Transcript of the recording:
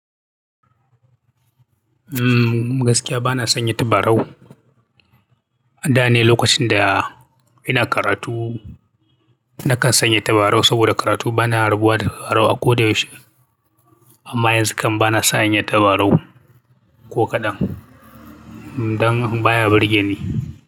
Mmm gaskiya ba na sanya tabarau. Da ne lokacin da ina karatu nakan sanya tabarau saboda karatu bana rabuwa da tabarau a ko da yaushe. Amma yanzu kam bana sanya tabarau ko kaɗan. Dan baya burge ni.